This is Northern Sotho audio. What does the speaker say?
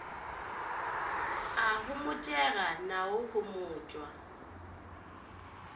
a homotšega na o homotšwa